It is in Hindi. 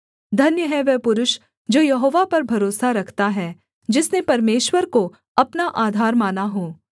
धन्य है वह पुरुष जो यहोवा पर भरोसा रखता है जिसने परमेश्वर को अपना आधार माना हो